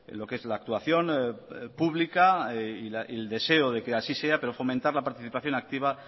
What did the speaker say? lo que es la actuación pública y el deseo de que así sea pero fomentar la participación activa